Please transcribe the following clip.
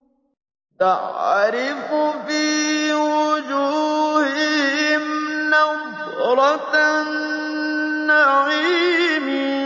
تَعْرِفُ فِي وُجُوهِهِمْ نَضْرَةَ النَّعِيمِ